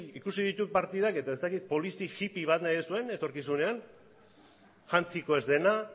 ikusi ditut partidak eta ez dakit polizi hippie bat nahi duzuen etorkizunean jantziko ez dena